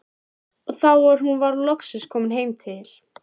Og þá var hún loksins komin til